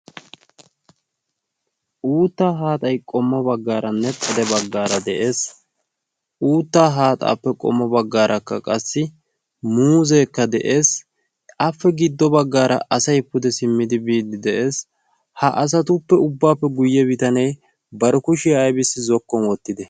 uutta haaxay qommo baggaara nexxade baggaara de'ees uuttaa haaxaappe qommo baggaarakka qassi muuzeekka de'ees ape giddo baggaara asay pude simmidi biiddi de'ees ha asatuppe ubbaappe guyye bitanee baro kushiyaa aybissi zokkon wottite